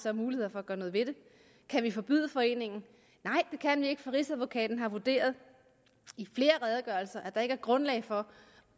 af muligheder for at gøre noget ved det kan vi forbyde foreningen nej det kan vi ikke for rigsadvokaten har vurderet i flere redegørelser at der ikke er grundlag for